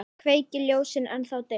Kveiki ljósið, ennþá dimmt.